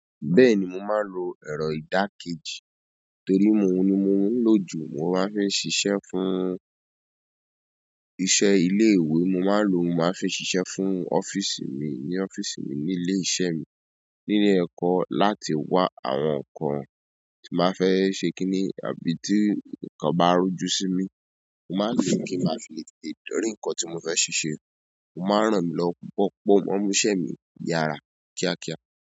Bẹ́ẹ̀ni, mo máa ń lo ẹ̀rọ ìdákéjì torí oun ní mo ń lòjú. Mo máa ń fi ṣiṣẹ́ fún iṣẹ́ ilé ìwé. Mo máa ń lò ó, mo máa fi ṣiṣẹ́ fún ọ́fíìsì mi ní ọ́fíìsì mi ní ilé iṣẹ́ mi nílé ẹ̀kọ́ láti wà àwọn ǹkan tí màá fẹ́ ṣe kíni àbí tí nǹkan bá rújú sí mi. Mo máa ń lò ó kí n máa fi le tètè dórí nǹkan tí mo fẹ́ ṣe ṣe. O máa ń ràn mí lọ pupọ́ o múṣẹ́ mi yára kíákíá.